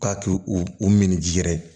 K'a k'u u min ji yɛrɛ ye